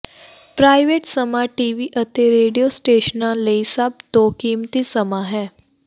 private ਸਮਾਂ TV ਅਤੇ radio ਸਟੇਸ਼ਨਾਂ ਲਈ ਸਭ ਤੋਂ ਕੀਮਤੀ ਸਮਾਂ ਹੈ